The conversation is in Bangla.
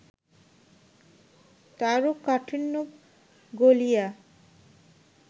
তারও কাঠিন্য গলিয়া